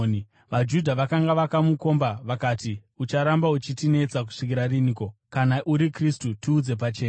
VaJudha vakanga vakamukomba, vakati, “Ucharamba uchitinetsa kusvikira riniko? Kana uri Kristu, tiudze pachena.”